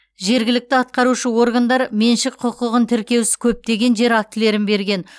жергілікті атқарушы органдар меншік құқығын тіркеусіз көптеген жер актілерін берген